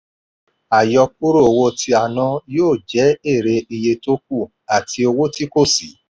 àyọkúrò owó tí a ná yó jẹ́ èrè iye tókù àti owó tí kò sí.